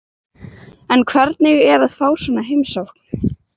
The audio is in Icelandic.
En hvernig er að fá svona heimsókn?